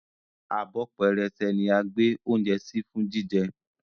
Abọ́ pẹrẹsẹ ní a gbè oúnjẹ sí fún jíjẹ